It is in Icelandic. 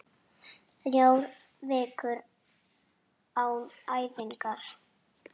Þrjár vikur án æfinga?